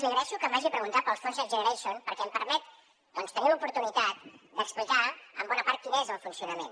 li agraeixo que m’hagi preguntat pels fons next generation perquè em permet doncs tenir l’oportunitat d’explicar en bona part quin és el funcionament